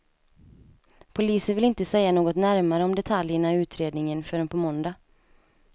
Polisen vill inte säga något närmare om detaljerna i utredningen förrän på måndag.